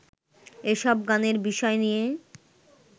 এসব গানের বিষয় নিয়ে